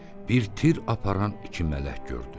Bir tir aparan iki mələk gördü.